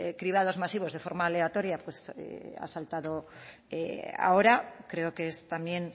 cribados máximos de forma aleatoria pues ha saltado ahora creo que es también